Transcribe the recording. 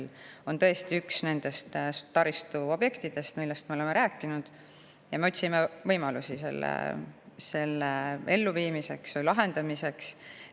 See on tõesti üks nendest taristuobjektidest, millest me oleme rääkinud, ja me otsime võimalusi selle lahendamiseks.